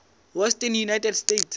western united states